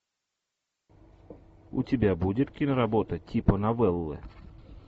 у тебя будет киноработа типа новеллы